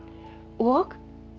og